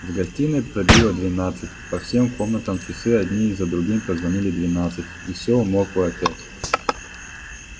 в гостиной пробило двенадцать по всем комнатам часы одни за другими прозвонили двенадцать и все умолкло опять